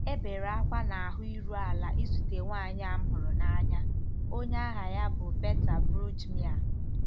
E bere ákwá na ahụ iru ala izute nwanyị a m hụrụ n'anya, onye aha ya bụ Berta Brüggemeier.